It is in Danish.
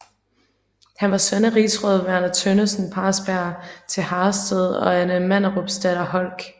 Han var søn af rigsråd Verner Tønnesen Parsberg til Harrested og Anne Manderupsdatter Holck